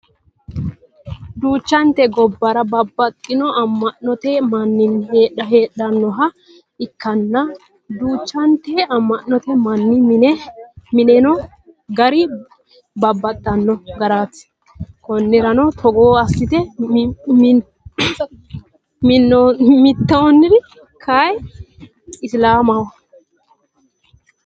Duuchante gubbuwara babbaxino ama'note minna heedhannoha ikkanna duuchanti ama'note manni mine mi'nanno gari babbaxino garaati. Konnirano Togo assite mi'nitannori kayii isilaamaho.